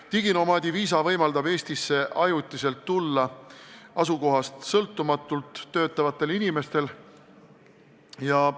Diginomaadi viisa võimaldab ajutiselt Eestisse tulla asukohast sõltumatult töötavatel inimestel.